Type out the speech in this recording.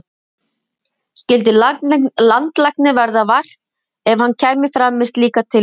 Skyldi landlækni verða vært ef hann kæmi fram með slíka tillögu?